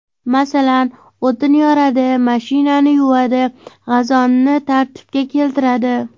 Masalan, o‘tin yoradi, mashinani yuvadi, gazonni tartibga keltiradi.